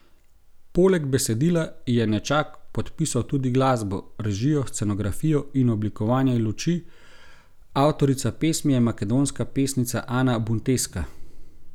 Poleg besedila je Nečak podpisal tudi glasbo, režijo, scenografijo in oblikovanje luči, avtorica pesmi je makedonska pesnica Ana Bunteska.